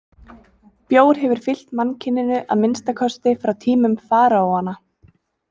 Bjór hefur fylgt mannkyninu að minnsta kosti frá tímum faraóanna.